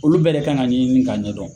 Olu bɛɛ de kan ka ɲɛɲini ka ɲɛdɔn.